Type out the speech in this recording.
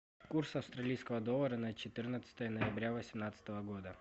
курс австралийского доллара на четырнадцатое ноября восемнадцатого года